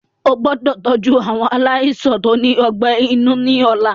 Ẹ gbọ́dọ̀ tọ́jú àwọn aláìsàn tó ní ọgbẹ́ inú ni ọ̀la.